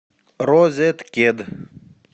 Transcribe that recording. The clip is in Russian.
розеткед